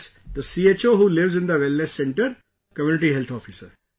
Yes, the CHO who lives in the Wellness Center, Community Health Officer